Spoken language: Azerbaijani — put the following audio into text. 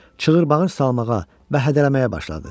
çığır-bağır salmağa və hədələməyə başladı.